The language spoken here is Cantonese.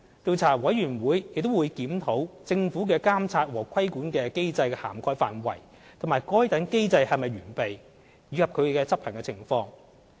調查委員會亦會檢討政府的監察和規管機制的涵蓋範圍及該等機制是否完備，以及其執行情況。